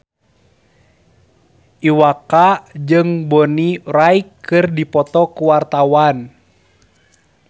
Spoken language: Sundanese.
Iwa K jeung Bonnie Wright keur dipoto ku wartawan